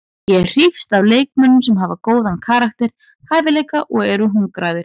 Ég hrífst að leikmönnum sem hafa góðan karakter, hæfileika og eru hungraðir.